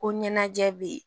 Ko ɲɛnajɛ bɛ yen